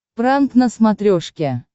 пранк на смотрешке